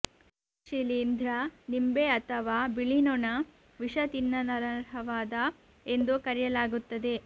ಈ ಶಿಲೀಂಧ್ರ ನಿಂಬೆ ಅಥವಾ ಬಿಳಿ ನೊಣ ವಿಷ ತಿನ್ನಲನರ್ಹವಾದ ಎಂದು ಕರೆಯಲಾಗುತ್ತದೆ